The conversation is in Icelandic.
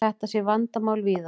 Þetta sé vandamál víðar.